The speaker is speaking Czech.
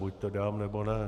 Buď to dám, nebo ne.